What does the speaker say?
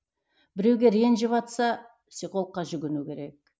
біреуге ренжіватса психологқа жүгіну керек